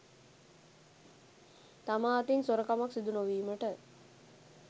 තමා අතින් සොරකමක් සිදු නොවීමට